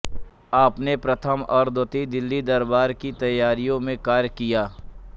आपने प्रथम और द्वितीय दिल्ली दरबार की तैयारियों में कार्य किया